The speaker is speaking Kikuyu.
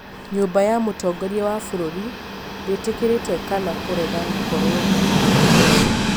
nyũmba ya mũtongoria wa bũrũri ndĩtĩkĩrĩte kana kũrega gũkorwo na mĩkwa ĩyo